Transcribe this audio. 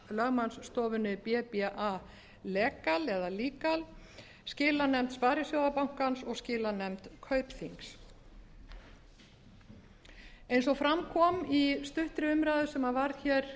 lögmannsstofunni bba legal skilanefnd sparisjóðabankans og skilanefnd kaupþings eins og fram kom í stuttri umræðu sem var hér